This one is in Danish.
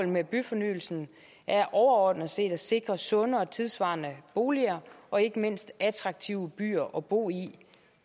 med byfornyelsen er overordnet set at sikre sunde og tidssvarende boliger og ikke mindst attraktive byer at bo i